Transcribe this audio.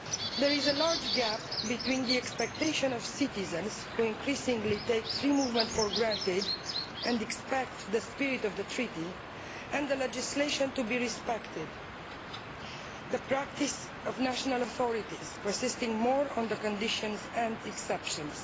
There is a large gap between the expectation of citizens, who increasingly take free movement for granted and expect the spirit of the Treaty and the legislation to be respected, and the practice of national authorities who insist more on the conditions and exceptions.